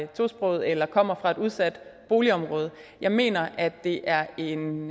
tosprogede eller kommer fra et udsat boligområde jeg mener at det er en